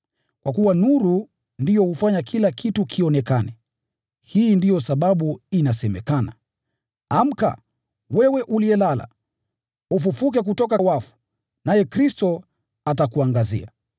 kwa kuwa nuru ndiyo hufanya kila kitu kionekane. Hii ndiyo sababu imesemekana: “Amka, wewe uliyelala, ufufuke kutoka kwa wafu, naye Kristo atakuangazia.”